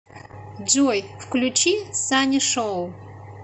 джой включи санишоу